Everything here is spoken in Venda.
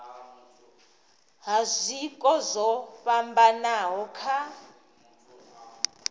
ha zwiko zwo fhambanaho kha